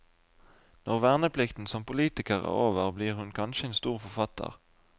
Når verneplikten som politiker er over, blir hun kanskje en stor forfatter.